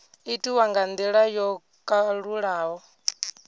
itiwa nga ndila yo kalulaho